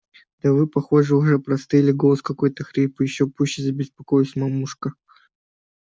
да вы похоже уже простыли голос-то какой хриплый ещё пуще забеспокоилась мамушка